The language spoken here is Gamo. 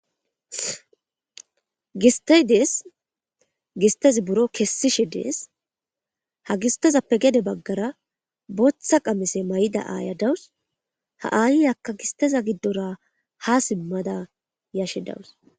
Gistey deyes gisttey buro kessishe deyes ha gistezzappe gede bagarra botha qamisse mayida aya deyaws ha ayekka gistezza gidorra ha simadda yashdaws.